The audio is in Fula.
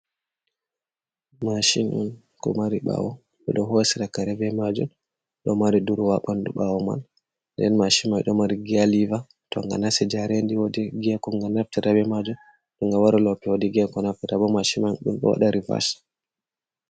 Mashin on ko mari bawo bedo hosira kare be majum, do mari duruwa bandu bawo man den mashi mai do mari gialiva tonga nasi jarendi wodi giya koge naftirta be majum toga wari lope wodi giya koge naftirta da bo mashi man dumdowada rivas.